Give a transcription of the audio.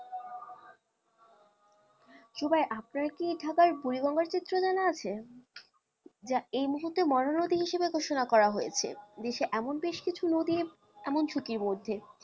জুবাই আপনার কি ঢাকার বুড়ি গঙ্গার চিত্র জানা আছে? যা এই মহূর্তে মরা নদী হিসাবে ঘোষণা করা হয়েছে দেশে এমন বেশ কিছু নদী এমন ঝুঁকির মধ্যে,